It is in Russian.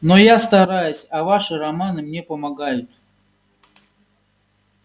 но я стараюсь а ваши романы мне помогают